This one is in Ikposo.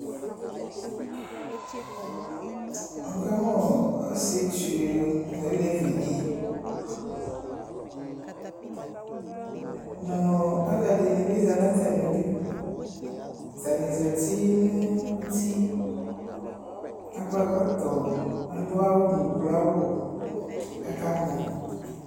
Wʋ ka mʋ ɔsietsu nʋ olevidɩ nʋ ɔɔ alʋɛdɩnɩ bɩ zã n'atamidʋ Atsnɩ zati nʋ uti, akɔ ɛkɔtɔ, adʋ awʋ nʋ uklo awʋ kʋ aka mɔ